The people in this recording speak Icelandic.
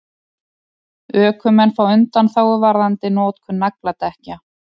Ökumenn fá undanþágu varðandi notkun nagladekkja